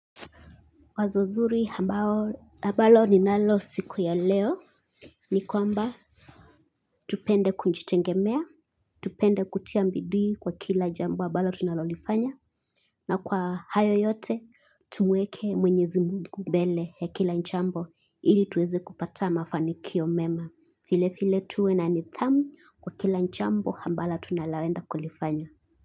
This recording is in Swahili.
Wazo zuri ambalo ninalo siku ya leo. Ni kwamba tupende kunjitegemea. Tupende kutia mbidii kwa kila jambo abalo tunalolifanya. Na kwa hayo yote tuweke mwenyezi Mungu Mbele ya kila jambo ili tuweze kupata mafanikio mema filefile tuwe na nidhamu kwa kila jambo ambalo tunaloenda kulifanya.